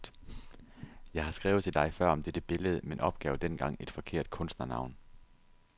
Jeg har skrevet til dig før om dette billede, men opgav dengang et forkert kunstnernavn.